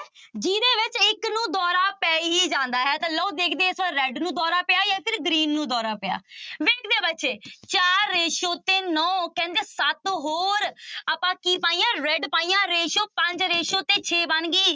ਜਿਹਦੇ ਵਿੱਚ ਇੱਕ ਨੂੰ ਦੌਰਾ ਪੈ ਹੀ ਜਾਂਦਾ ਹੈ ਤਾਂ ਲਓ ਵੇਖਦੇ ਹਾਂ ਇਸ ਵਾਰ red ਨੂੰ ਦੌਰਾ ਪਿਆ ਜਾਂ ਫਿਰ green ਨੂੰ ਦੌਰਾ ਪਿਆ ਵੇਖਦੇ ਹਾਂ ਬੱਚੇ ਚਾਰ ratio ਤੇ ਨੋਂ, ਕਹਿੰਦੇ ਸੱਤ ਹੋਰ ਆਪਾਂ ਕੀ ਪਾਈਆਂ red ਪਾਈਆਂ ratio ਪੰਜ ratio ਤੇ ਛੇ ਬਣ ਗਈ।